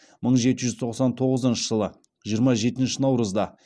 мың жеті жүз тоқсан тоғызыншы жылы жиырма жетінші наурызда